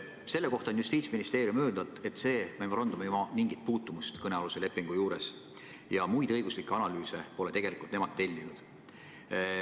Selle kohta on Justiitsministeerium öelnud, et see memorandum ei oma mingit puutumust kõnealuse lepinguga ja muid õiguslikke analüüse pole nemad tegelikult tellinud.